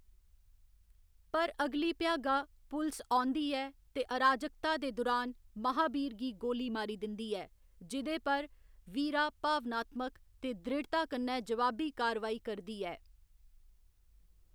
पर अगली भ्यागा, पुलस औंदी ऐ ते अराजकता दे दुरान, महाबीर गी गोली मारी दिंदी ऐ, जेह्दे पर वीरा भावनात्मक ते दृढ़ता कन्नै जवाबी कारवाई करदी ऐ।